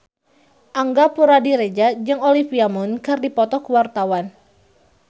Angga Puradiredja jeung Olivia Munn keur dipoto ku wartawan